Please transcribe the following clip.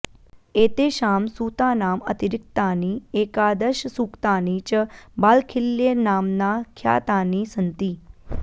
एतेषां सूतानाम् अतिरिक्तानि एकादशसूक्तानि च बालखिल्यनाम्ना ख्यातानि सन्ति